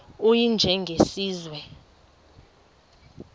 u y njengesiwezi